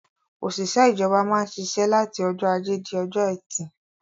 Òṣìṣẹ́ ìjọba máa ń ṣiṣẹ́ láti ọjọ́ ajé di ọjọ́ ẹtì.